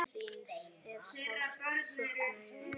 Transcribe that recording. Þín er sárt saknað hér.